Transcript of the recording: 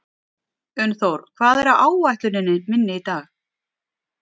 Unnþór, hvað er á áætluninni minni í dag?